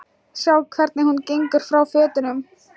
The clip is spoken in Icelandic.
Sjá hvernig hún gengur frá fötunum.